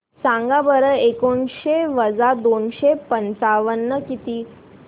सांगा बरं एकोणीसशे वजा दोनशे पंचावन्न किती